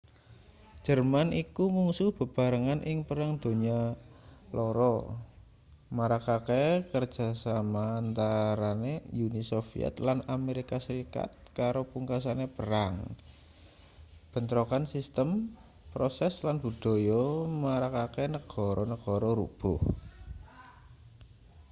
jerman iku mungsuh bebarengan ing perang donya 2 marakake kerjasama antarane uni soviet lan amerika serikat karo pungkasane perang bentrokan sistem proses lan budaya marakake negara-negara rubuh